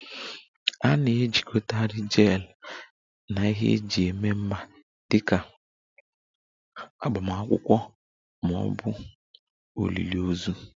A na-ejikọtakarị Gele na ihe eji eme mmemme dị ka agbamakwụkwọ ma ọ bụ olili ozu